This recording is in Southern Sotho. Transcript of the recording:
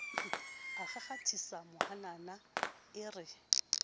a kgakgathisa mahanana e re